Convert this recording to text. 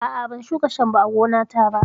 A'a, ban shuka shambo a gonata ba.